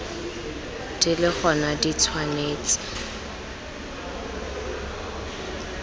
di le gona di tshwanetse